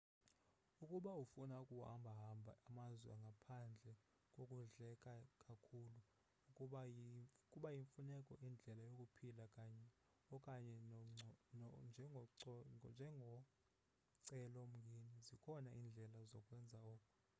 ukuba ufuna ukuhamba hamba amazwe ngaphandle kokudleka kakhulu ukuba kuyimfuneko indlela yokuphila okanye njengocelo mngeni zikhona iindlela zokwenza oko